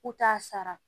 U t'a sara